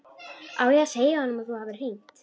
Á ég að segja honum að þú hafir hringt?